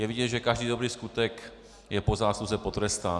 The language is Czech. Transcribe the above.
Je vidět, že každý dobrý skutek je po zásluze potrestán.